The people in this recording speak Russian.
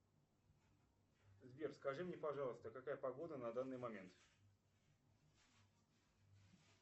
сбер скажи мне пожалуйста какая погода на данный момент